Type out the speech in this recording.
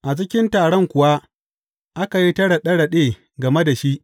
A cikin taron kuwa aka yi ta raɗe raɗe game da shi.